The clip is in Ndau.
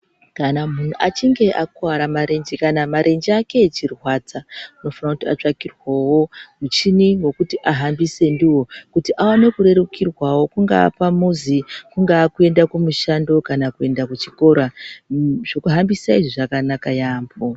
Kana munhu achinge akuwara marenji, kana marenji ake echirwadza, unofanira kuti atsvagirwewo muchini wokuti ahambise ndiwo kuti awane kurerukirwawo. Kungava pamuzi, kungava kuyenda kumushando kana kuyenda kuchikora. Zvokuhambisa izvi zvakanaka yambo.